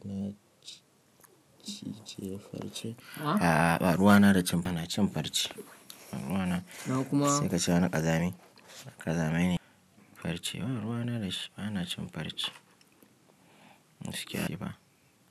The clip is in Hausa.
Na cije farce? A'a ba, ruwa na da cin ba na cin farce. Ruwa na sai ka ci ana ƙazami. Ƙazame ne farce. Ba ruwa na da shi ba na cin farce. Muskyari ba.